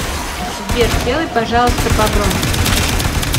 сбер сделай пожалуйста погромче